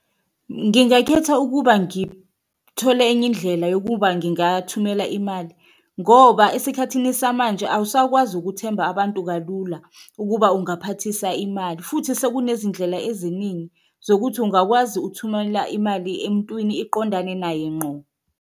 Ngingakhetha ukuba ngithole enye indlela yokuba ngingathumela imali ngoba esikhathini samanje awusakwazi ukuthemba abantu kalula ukuba ungaphatisa imali, futhi sekunezindlela eziningi zokuthi ungakwazi ukuthumelela imali emuntwini iqondane naye ngqo.